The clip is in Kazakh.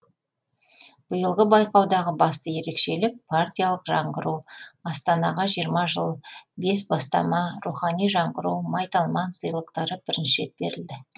биылғы байқаудағы басты ерекшелік партиялық жаңғыру астанаға жиырма жыл бес бастама рухани жаңғыру майталман сыйлықтары бірінші рет берілді